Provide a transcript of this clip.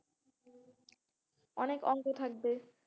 অনেক অঙ্ক থাকবে,